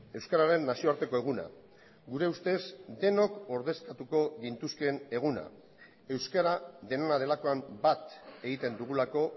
euskararen nazioarteko eguna gure ustez denok ordezkatuko gintuzkeen eguna euskara denona delakoan bat egiten dugulako